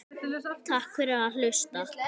Takk fyrir að hlusta.